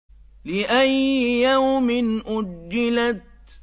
لِأَيِّ يَوْمٍ أُجِّلَتْ